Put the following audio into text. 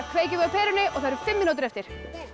kveikjum við á perunni og það eru fimm mínútur eftir